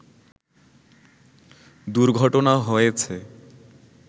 দুর্ঘটনা হয়েছে